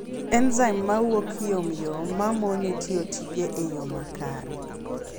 enzaim mawuok yomyom mamone tiyo tije e yoo makare